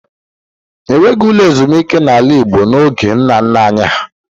E nweghị ụlọ ezumike n’ala Igbo n’oge nna nna anyị ha.